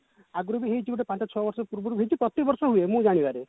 ଆଗରୁ ବି ହେଇଚି ଗୋଟେ ପାଞ୍ଚ ଛ ବର୍ଷ ପୂର୍ବରୁ ହେଇଛି ପ୍ରତି ବର୍ଷ ହୁଏ ମୁଁ ଜାଣିବାରେ